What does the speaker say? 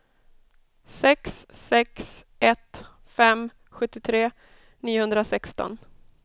sex sex ett fem sjuttiotre niohundrasexton